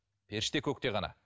періште көкте ғана